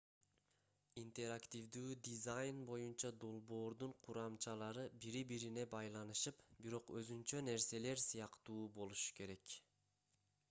интерактивдүү дизайн боюнча долбоордун курамчалары бири-бирине байланышып бирок өзүнчө нерселер сыяктуу болушу керек